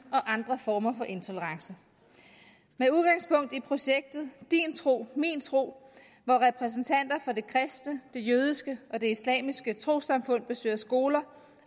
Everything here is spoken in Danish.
og andre former for intolerance med udgangspunkt i projektet din tro min tro hvor repræsentanter for det kristne det jødiske og det islamiske trossamfund besøger skoler